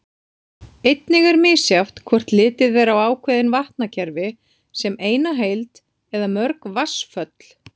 Einnig er misjafnt hvort litið er á ákveðin vatnakerfi sem eina heild eða mörg vatnsföll.